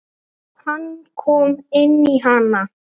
Hann kom inn í hana.